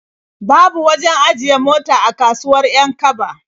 Babu wajen ajiye mota a kasuwar 'Yan-kaba.